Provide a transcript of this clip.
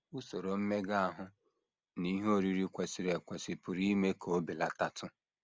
Usoro mmega ahụ na ihe oriri kwesịrị ekwesị pụrụ ime ka o belatatụ